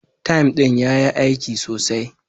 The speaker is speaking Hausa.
"Thyme" din ya yi aiki sosai